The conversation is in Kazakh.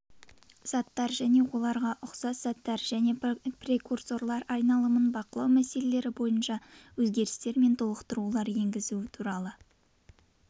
заттар оларға ұқсас заттар және прекурсорлар айналымын бақылау мәселелері бойынша өзгерістер мен толықтырулар енгізу туралы